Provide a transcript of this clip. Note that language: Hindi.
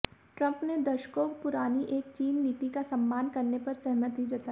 ट्रंप ने दशकों पुरानी एक चीन नीति का सम्मान करने पर सहमति जताई